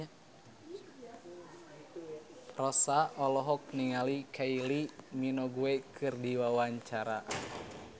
Rossa olohok ningali Kylie Minogue keur diwawancara